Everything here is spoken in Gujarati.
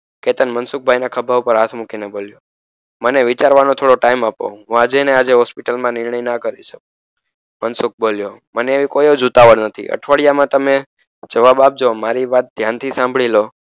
કેતન મનસુખભાઈના ખભા પર હાથ મૂકીને બોલ્યો મને વિચારવાનો થોડો time આપો હું આજેને આજે હોસ્પીટલમાં નિર્ણય ના કરી શકું મનસુખ બોલ્યો મને એવી કોઈજ ઉતાવળ નથી અઠવાડિયામાંતમે જવાબ આપજો મારી વાત ધ્યાન થી સાંભળી લો